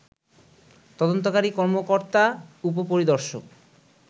তদন্তকারী কর্মকর্তা উপপরিদর্শক